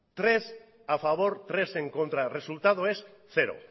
tres a favor tres en contra el resultado es cero